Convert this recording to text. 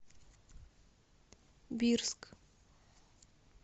бирск